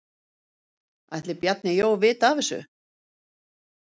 Ætli Bjarni Jó vita af þessu?